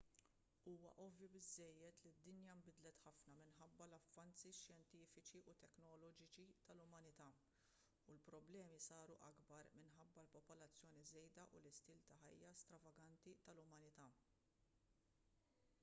huwa ovvju biżżejjed li d-dinja nbidlet ħafna minħabba l-avvanzi xjentifiċi u teknoloġiċi tal-umanità u l-problemi saru akbar minħabba l-popolazzjoni żejda u l-istil ta' ħajja stravaganti tal-umanità